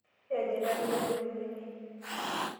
Iyanyita minyi ong'utunyi.